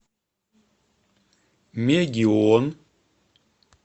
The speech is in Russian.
мегион